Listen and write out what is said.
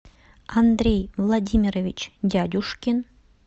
андрей владимирович дядюшкин